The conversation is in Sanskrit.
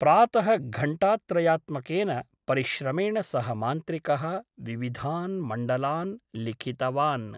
प्रातः घण्टात्रयात्मकेन परिश्रमेण सः मान्त्रिकः विविधान् मण्डलान् लिखित वान् ।